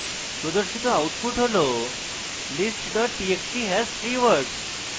প্রদর্শিত output has list txt has 3 words